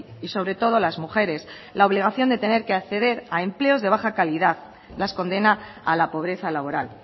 y sobre todo las mujeres la obligación de tener que acceder a empleos de baja calidad las condena a la pobreza laboral